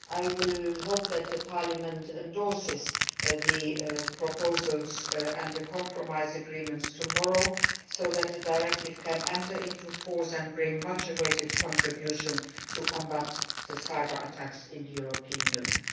I hope that the Parliament will endorse the proposals and the compromise agreements tomorrow, so that the directive can enter into force and make a much awaited contribution to combating cyber attacks in the European Union.